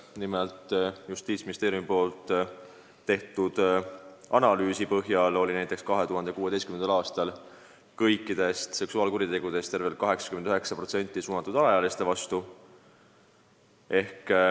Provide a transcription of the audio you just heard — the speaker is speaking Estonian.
Nimelt, Justiitsministeeriumi tehtud analüüsi põhjal oli näiteks 2016. aastal kõikidest seksuaalkuritegudest tervelt 89% suunatud alaealiste vastu.